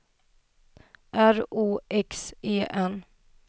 R O X E N